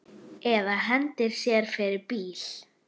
Eða hendi sér fyrir bíl.